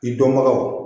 I dɔnbagaw